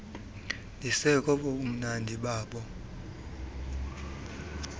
ndisekobo bumnandi bobo